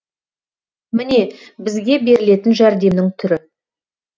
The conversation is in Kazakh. міне бізге берілетін жәрдемнің түрі